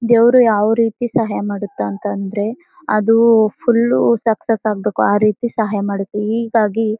ದೇವರು ಯಾವ್ ರೀತಿ ಸಹಾಯ ಮಾಡುತಾ ಅಂತ ಅಂದ್ರೆ ಅದು ಫುಲ್ ಸಕ್ಸಸ್ ಆಗ್ಬೇಕು ಆ ರೀತಿ ಸಹಾಯ ಮಾಡುತ್ತೆ ಈಗಾಗ್ಲಿ--